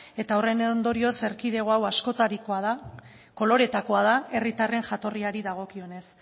horren ondorioz erkidego hau askotarikoa da koloreetakoa da herritarren jatorriari dagokionez